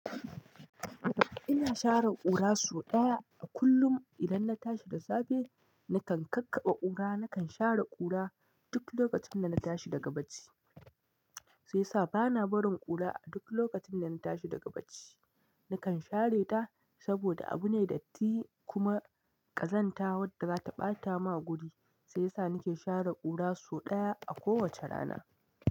Ina share ƙura so ɗaya a kullum. Idan na tashi da safe, nakan kakkaɓe ƙura. Nakan share ƙura duk lokacin da na tashi daga bacci. Sai sa bana barin ƙura a duk lokacin da na tashi daga bacci. Nakan share ta saboda abu ne datti kuma ƙazanta wadda za ta ɓata ma guri. Sai yasa nake share ƙura so ɗaya a kowacce rana.